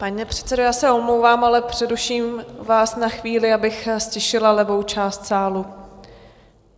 Pane předsedo, já se omlouvám, ale přeruším vás na chvíli, abych ztišila levou část sálu.